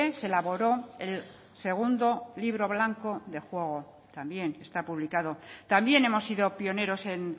se elaboró el segundo libro blanco de juego también está publicado también hemos sido pioneros en